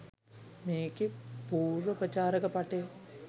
මේකේ පූර්ව ප්‍රචාරක පටය